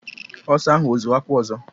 Ọsa ahụ ọ zuru akwụ ọzọ?